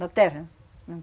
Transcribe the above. Na terra, na